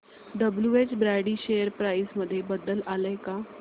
WH Brady share price मध्ये बदल आलाय का